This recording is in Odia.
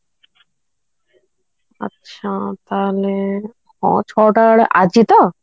ଆଚ୍ଛା ତାହାଲେ ହଁ ଛଅ ଟା ବେଳେ ଆଜି ତ